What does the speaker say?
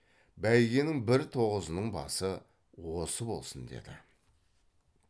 бәйгенің бір тоғызының басы осы болсын деді